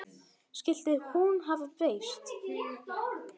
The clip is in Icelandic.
Skyldi hún hafa breyst?